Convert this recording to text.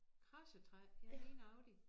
Kradsetræ ja lige nøjagtig